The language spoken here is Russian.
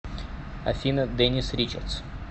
афина дениз ричардс